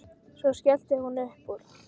Svo skellti hún upp úr.